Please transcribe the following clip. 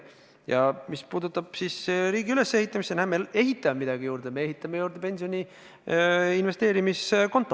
Ja mis puutub riigi ülesehitamisse, siis näe, me ehitame midagi juurde: pensioni investeerimiskonto.